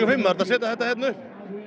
fimm þurfti að setja þetta upp